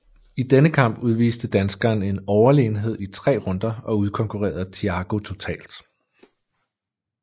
I denne kamp udviste danskeren en overlegenhed i tre runder og udkonkurrerede Thiago totalt